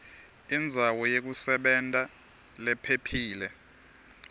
indzawo yekusebenta lephephile